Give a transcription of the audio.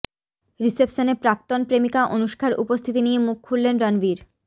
রিসেপশনে প্রাক্তন প্রেমিকা অনুষ্কার উপস্থিতি নিয়ে মুখ খুললেন রণবীর